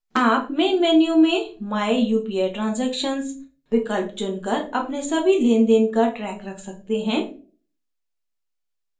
आप main menu में my upi transactions विकल्प चुनकर अपने सभी लेनदेन का ट्रैक रख सकते हैं